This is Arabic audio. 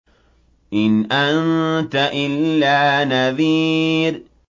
إِنْ أَنتَ إِلَّا نَذِيرٌ